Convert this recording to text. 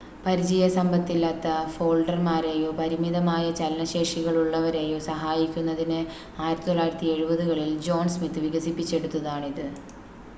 പരിചയസമ്പത്തില്ലാത്ത ഫോൾഡർമാരെയോ പരിമിതമായ ചലന ശേഷികളുള്ളവരെയോ സഹായിക്കുന്നതിന് 1970-കളിൽ ജോൺ സ്മിത്ത് വികസിപ്പിച്ചെടുതാണിത്